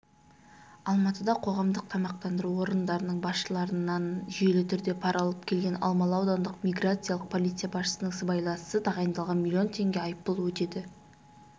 алматыда қоғамдық тамақтандыру орындарының басшыларынан жүйелі түрде пара алып келген алмалы аудандық миграциялық полиция басшысының сыйбайласы тағайындалған миллион теңге айыппұлды өтеді